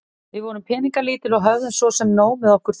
Við vorum peningalítil og höfðum svo sem nóg með okkur þrjú.